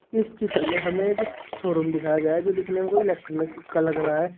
इस चित्र में हमें एक शोरूम दिखाया गया है जो दिखने में कोई इलेक्ट्रॉनिक का लग रहा है।